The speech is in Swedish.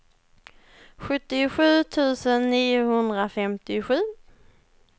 sjuttiosju tusen niohundrafemtiosju